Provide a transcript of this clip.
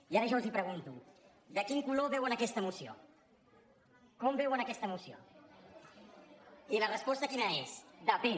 i ara jo els pregunto de quin color veuen aquesta moció com veuen aquesta moció i la resposta quina és depèn